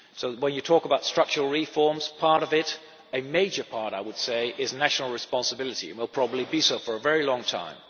When you talk about structural reforms, part of it a major part, I would say is national responsibility and will probably be so for a very long time.